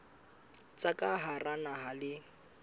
tsa ka hara naha le